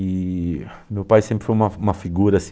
E meu pai sempre foi uma uma figura